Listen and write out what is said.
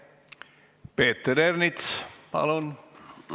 Peeter Ernits, palun!